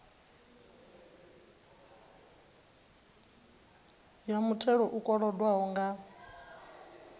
ya muthelo u kolodwaho nga